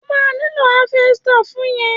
O ma nílò háfẹ́stà fún yẹn.